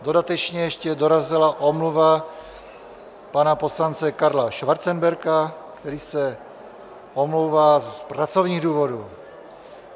Dodatečně ještě dorazila omluva pana poslance Karla Schwarzenberga, který se omlouvá z pracovních důvodů.